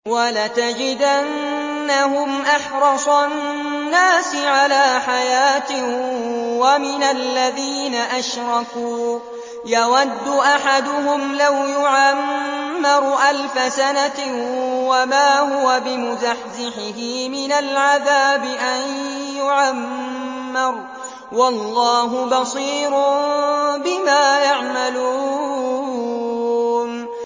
وَلَتَجِدَنَّهُمْ أَحْرَصَ النَّاسِ عَلَىٰ حَيَاةٍ وَمِنَ الَّذِينَ أَشْرَكُوا ۚ يَوَدُّ أَحَدُهُمْ لَوْ يُعَمَّرُ أَلْفَ سَنَةٍ وَمَا هُوَ بِمُزَحْزِحِهِ مِنَ الْعَذَابِ أَن يُعَمَّرَ ۗ وَاللَّهُ بَصِيرٌ بِمَا يَعْمَلُونَ